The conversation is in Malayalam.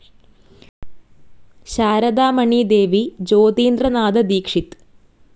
ശാരദാ മണി ദേവി, ജ്യോതീന്ദ്ര നാഥ ദീക്ഷിത്.